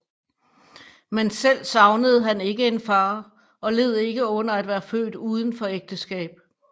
Men selv savnede han ikke en far og led ikke under at være født udenfor ægteskab